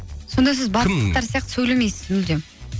сонда сіз сияқты сөйлемейсіз мүлдем